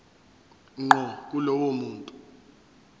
ngqo kulowo muntu